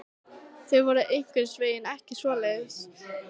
Þau voru einhvern veginn ekki svoleiðis.